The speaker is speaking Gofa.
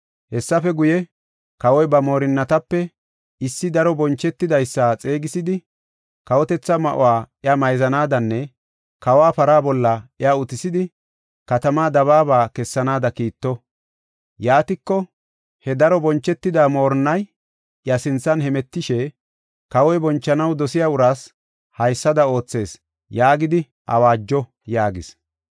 Hessafe guye, kawoy ba moorinatape issi daro bonchetidaysa xeegisidi, kawotetha ma7o iya mayzanaadanne kawa para bolla iya utisidi, katamaa dabaaba kessanaada kiitto. Yaatiko he daro bonchetida moorinnay iya sinthan hemetishe, ‘Kawoy bonchanaw dosiya uraas haysada oothees’ yaagidi awaajo” yaagis.